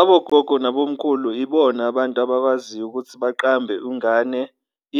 Abogogo nabomkhulu ibona abantu abakwaziyo ukuthi baqambe ungane